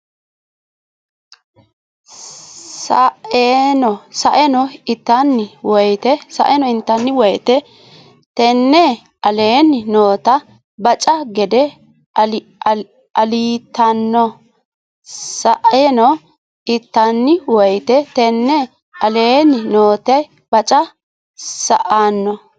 Sa eno intanni woyte tenne aleenni noota baca gede alliitanno Sa eno intanni woyte tenne aleenni noota baca Sa eno.